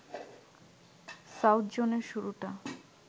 south জোনের শুরুটা